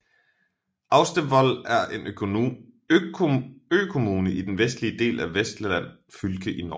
Austevoll er en økommune i den vestlige del af Vestland fylke i Norge